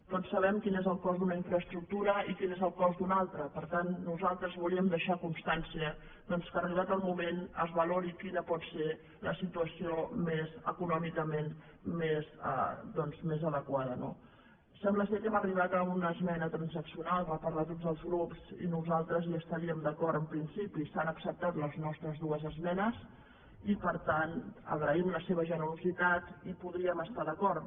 tots sabem quin és el cost d’una infraestructura i quin és el cost d’una altra per tant nosaltres volíem deixar constància doncs que arribat el moment es valori quina pot ser la situació econòmicament més adequada no sembla que hem arribat a una esmena transaccional per part de tots els grups i nosaltres hi estaríem d’acord en principi s’han acceptat les nostres dues esmenes i per tant agraïm la seva generositat i hi podríem estar d’acord